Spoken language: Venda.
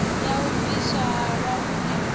ya u bvisa halwa vhune